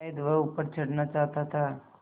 शायद वह ऊपर चढ़ना चाहता था